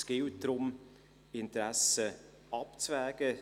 Es gilt darum, Interessen abzuwägen: